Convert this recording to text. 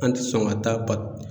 An ti sɔn ka taa pat